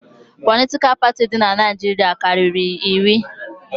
Politikal parti di n'Naijiria karịrị iri